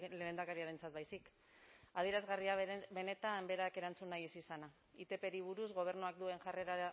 lehendakariarentzat baizik adierazgarria benetan berak erantzun nahi ez izana itpri buruz gobernuak duen jarrera